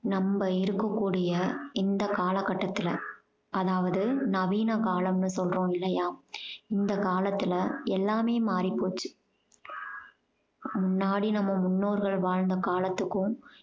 நம்ம இருக்கக்கூடிய இந்த காலகட்டத்துல அதாவது நவீன காலம்னு சொல்றோம் இல்லையா இந்த காலத்துல எல்லாமே மாறிப்போச்சு முன்னாடி நம்ம முன்னோர்கள் வாழ்ந்த காலத்துக்கும்